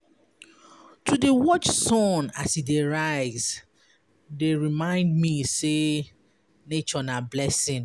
To dey watch sun as e dey rise dey remind me sey nature na blessing.